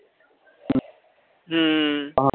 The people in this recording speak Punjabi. ਹਮ